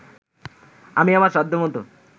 আমি আমার সাধ্যমতো